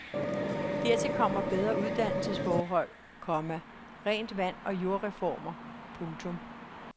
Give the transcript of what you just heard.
Dertil kommer bedre uddannelsesforhold, komma rent vand og jordreformer. punktum